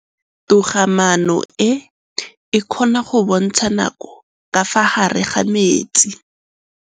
Toga-maanô e, e kgona go bontsha nakô ka fa gare ga metsi.